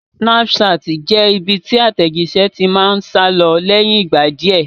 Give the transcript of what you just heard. Snapchat jẹ́ ibi tí àtẹ̀jíṣé ti máa ń sálọ lẹ́yìn ìgbà díẹ̀